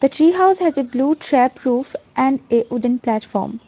tree house has a blue trap roof and a wooden platform.